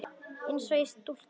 Eins og í stúku.